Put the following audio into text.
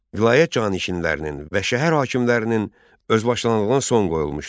Vilayət canişinlərinin və şəhər hakimlərinin özbaşınalığına son qoyulmuşdu.